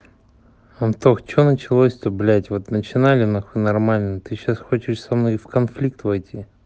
антох что началось то блять вот начинали нахуй нормально ты сейчас хочешь со мной в конфликт войти